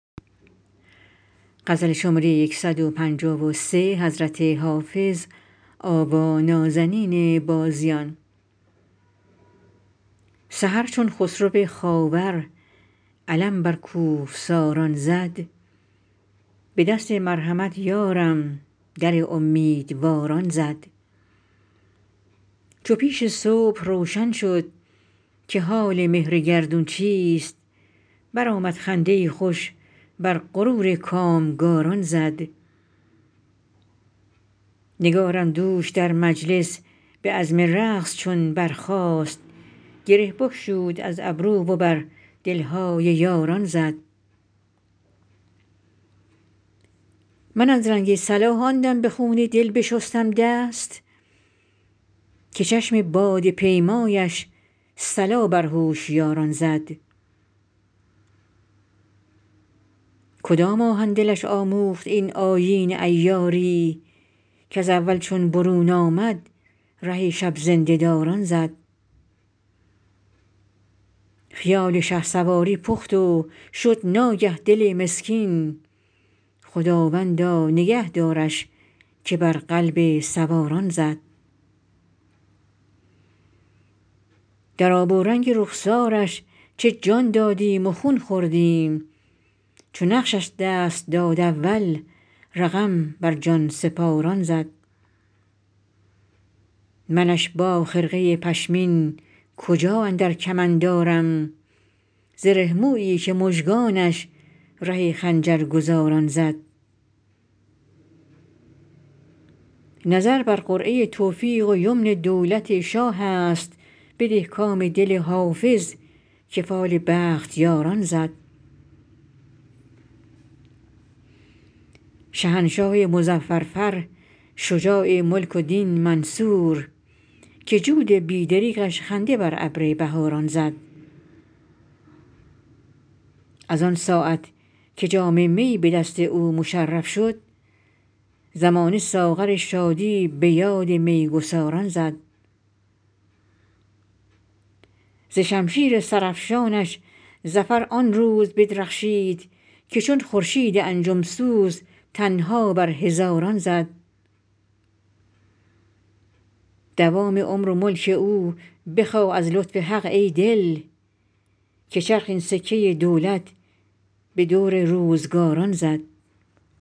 سحر چون خسرو خاور علم بر کوهساران زد به دست مرحمت یارم در امیدواران زد چو پیش صبح روشن شد که حال مهر گردون چیست برآمد خنده ای خوش بر غرور کامگاران زد نگارم دوش در مجلس به عزم رقص چون برخاست گره بگشود از گیسو و بر دل های یاران زد من از رنگ صلاح آن دم به خون دل بشستم دست که چشم باده پیمایش صلا بر هوشیاران زد کدام آهن دلش آموخت این آیین عیاری کز اول چون برون آمد ره شب زنده داران زد خیال شهسواری پخت و شد ناگه دل مسکین خداوندا نگه دارش که بر قلب سواران زد در آب و رنگ رخسارش چه جان دادیم و خون خوردیم چو نقشش دست داد اول رقم بر جان سپاران زد منش با خرقه پشمین کجا اندر کمند آرم زره مویی که مژگانش ره خنجرگزاران زد نظر بر قرعه توفیق و یمن دولت شاه است بده کام دل حافظ که فال بختیاران زد شهنشاه مظفر فر شجاع ملک و دین منصور که جود بی دریغش خنده بر ابر بهاران زد از آن ساعت که جام می به دست او مشرف شد زمانه ساغر شادی به یاد می گساران زد ز شمشیر سرافشانش ظفر آن روز بدرخشید که چون خورشید انجم سوز تنها بر هزاران زد دوام عمر و ملک او بخواه از لطف حق ای دل که چرخ این سکه دولت به دور روزگاران زد